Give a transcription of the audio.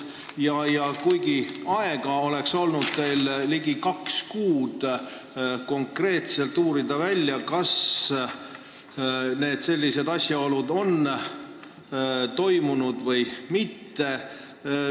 Samas on teil olnud ligi kaks kuud aega konkreetselt välja uurida, kas sellised asjaolud on esinenud või mitte.